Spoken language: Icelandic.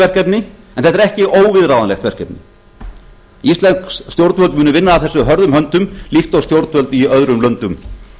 verkefni en þetta er ekki óviðráðanlegt verkefni íslensk stjórnvöld munu vinna að þessu hörðum höndum líkt eins og stjórnvöld í öðrum löndum